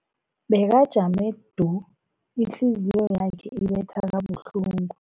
Bekajame du, ihliziyo yakhe ibetha kabuhlungu.